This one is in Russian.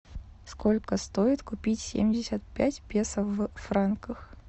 сколько стоит купить семьдесят пять песо в франках